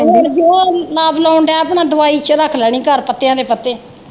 ਹੁਣ ਜੋ ਲਾਉਣ ਦੇ ਪੈਣਾ ਦਵਾਈ ਚ ਰੱਖ ਲੈਣੀ ਘਰ ਪੱਤਿਆਂ ਦੇ ਪੱਤੇ।